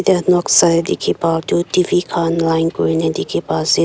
Yat noksa tey dekhi pa toh TV khan line kurina dekhi pa ase.